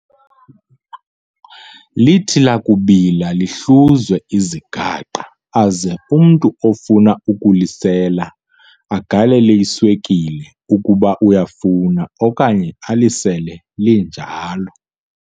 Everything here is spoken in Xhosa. Lithi lakubila lihluzwe, izigaqa aze umntu ofuna ukulisela agalele iswekile ukuba uyafuna okanye alisele linjalo.